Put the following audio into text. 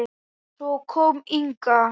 Svo kom Inga.